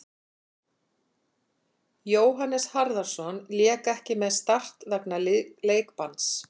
Jóhannes Harðarson lék ekki með Start vegna leikbanns.